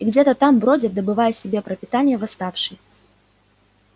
и где-то там бродят добывая себе пропитание восставший